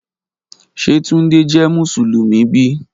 Ṣe Tunde jẹ Musulumi bi?